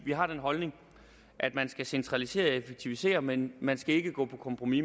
vi har den holdning at man skal centralisere og effektivisere men man skal ikke gå på kompromis